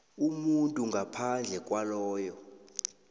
umuntu ngaphandle kwaloyo